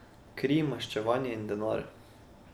Kri, maščevanje in denar.